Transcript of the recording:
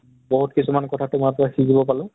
বহুত কিছুমান কথা তোমাৰ পৰা শিকিব পাৰিলোঁ